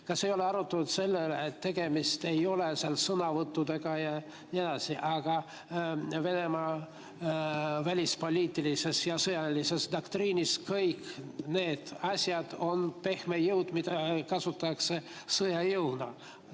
Kas ei ole arutatud selle üle, et tegemist ei ole seal sõnavõttudega ja nii edasi, vaid Venemaa välispoliitilises ja sõjalises doktriinis kõik need asjad on pehme jõud, mida kasutatakse sõjajõuna?